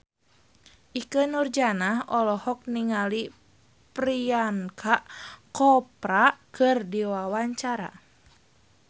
Ikke Nurjanah olohok ningali Priyanka Chopra keur diwawancara